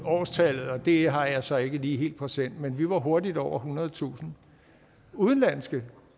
årstallet og det har jeg så ikke lige helt præsent men vi var hurtigt over ethundredetusind udenlandske